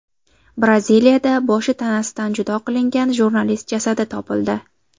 Braziliyada boshi tanasidan judo qilingan jurnalist jasadi topildi.